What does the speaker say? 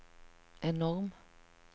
enorm